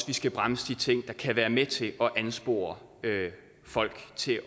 vi skal bremse de ting der kan være med til at anspore folk til